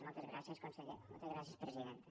moltes gràcies conseller moltes gràcies presidenta